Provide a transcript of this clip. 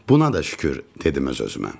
Buna da şükür, dedim öz-özümə.